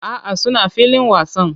A'a, suna filin wasan